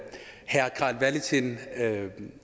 have en